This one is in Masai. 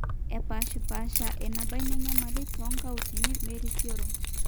epaashipaasha eneba ina nyamali toonkautini. merisioro